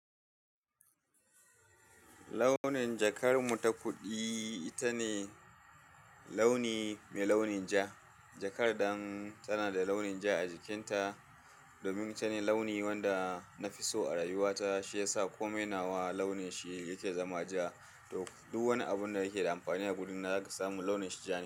Launin jakar mu ta kuɗi, ita ne launi mai launin ja. Jakar dan tana da launin ja a jikinta. Domin ita ne launi wanda na fi so a rayuwa ta, shi ya sa komai nawa launin shi yake zama ja. Duk wani abun da yake da amfani a guri na zaka samu launin shi ja ne.